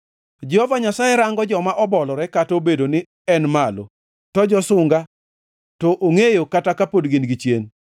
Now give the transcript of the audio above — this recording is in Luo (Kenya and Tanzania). Jehova Nyasaye rango joma obolore kata obedo ni en malo to josunga to ongʼeyo kata kapod gin gichien.